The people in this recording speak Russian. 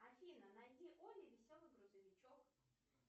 афина найди олли веселый грузовичок